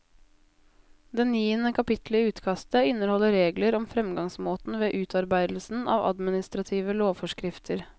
Det niende kapitlet i utkastet inneholder regler om framgangsmåten ved utarbeidelsen av administrative lovforskrifter.